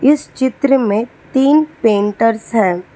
इस चित्र में तीन पेंटर्स हैं।